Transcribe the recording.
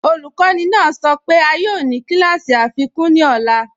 Ọlukọni naa sọ pe a yoo ni kílàsí afikun ní ọ̀là.